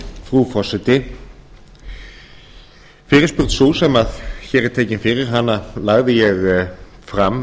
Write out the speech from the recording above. frú forseti fyrirspurn sú sem hér er tekin fyrir hana lagði ég fyrir fram